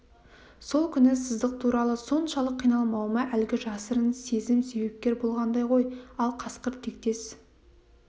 сол күні сыздық туралы соншалық қиналмауыма әлгі жасырын сезім себепкер болғандай ғой ал қасқыр тектес